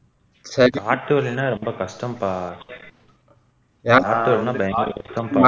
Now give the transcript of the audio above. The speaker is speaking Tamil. hey காட்டு வழினா ரொம்ப கஷ்டோம்பா காட்டு வழினா பயங்கர கஷ்டோம்பா